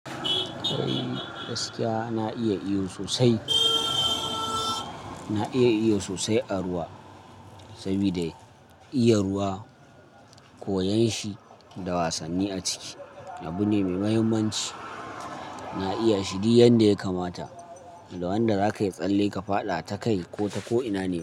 Eh gaskiya na iya iyo sosai, na iya iyo sosai a ruwa sabida iya ruwa, koyon shi da wasanni a ciki abu ne mai mahimmanci. Na iya shi du yanda ya kamata da wanda zaka yi tsalle ka faɗa ta kai ko ta ko'ina ne.